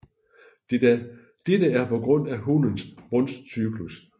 Dette er på grund af hunnens brunstcyklus